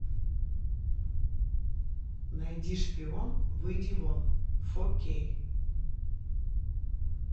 найди шпион выйди вон фо кей